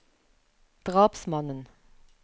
drapsmannen